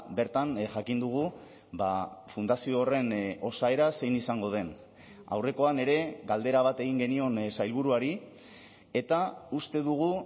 bertan jakin dugu fundazio horren osaera zein izango den aurrekoan ere galdera bat egin genion sailburuari eta uste dugu